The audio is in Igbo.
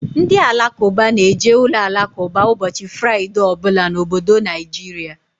Ndị Alakụba na-eje uloalakụba ụbọchị Fraịdee ọ bụla n'obodo Naijiria.